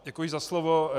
Děkuji za slovo.